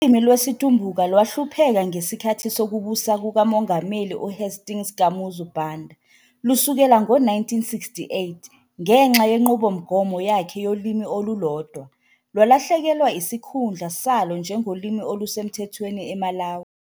Ulimi lwesiTumbuka lwahlupheka ngesikhathi sokubusa kukaMongameli uHastings Kamuzu Banda, lusukela ngo-1968 ngenxa yenqubomgomo yakhe yolimi olulodwa, lwalahlekelwa isikhundla salo njengolimi olusemthethweni eMalawi.